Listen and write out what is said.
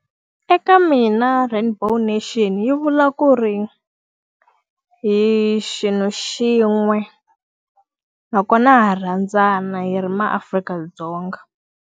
Eka mina rainbow nation yi vula ku ri, hi xilo xin'we nakona ha rhandzana hi ri maAfrika-Dzonga.